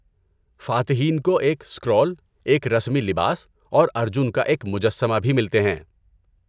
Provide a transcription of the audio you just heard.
فاتحین کو ایک اسکرول، ایک رسمی لباس، اور ارجن کا ایک مجسمہ بھی ملتے ہیں۔